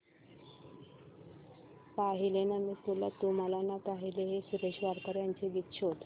पाहिले ना मी तुला तू मला ना पाहिले हे सुरेश वाडकर यांचे गीत शोध